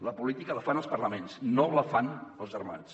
la política la fan els parlaments no la fan els armats